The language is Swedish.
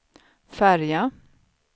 färja